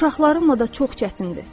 Uşaqlarımla da çox çətindir.